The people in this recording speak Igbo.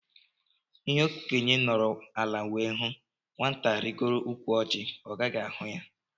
Ihé okénye nọrọ ala wee hụ, nwata rigoo ụkwụ Orji ọ gaghị ahụ ya.